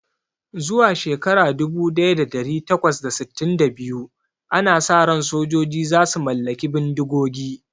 Zuwa shekara dubu daya da dari takwas da sittin da biyu, ana sa ran sojoji za su mallaki bindigogi